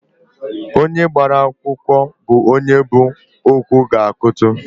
Onye gbara akwụkwụ bụ onye bu okwu gaa kụtụ